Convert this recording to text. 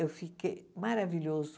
Eu fiquei maravilhoso.